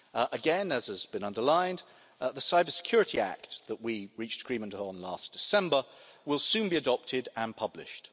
Again, as has been underlined, the Cybersecurity Act that we reached agreement on last December will soon be adopted and published.